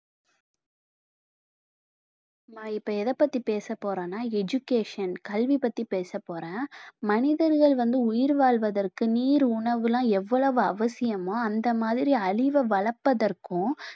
நான் இப்ப எதை பத்தி பேச போறேன்னா education கல்வி பத்தி பேச போறேன் மனிதர்கள் வந்து உயிர் வாழ்வதற்கு நீர் உணவுலாம் எவ்வளவு அவசியமோ அந்த மாதிரி அறிவ வளர்ப்பதற்கும்